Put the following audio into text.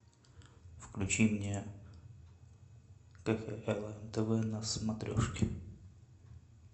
включи мне кхлм тв на смотрешке